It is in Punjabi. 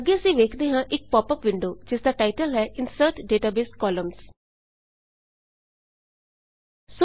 ਅੱਗੇ ਅਸੀਂ ਵੇਖਦੇ ਹਾਂ ਇੱਕ ਪੌਪ ਅੱਪ ਵਿੰਡੋ ਜਿਸ ਦਾ ਟਾਈਟਲ ਹੈ160 insert database columns insert database columns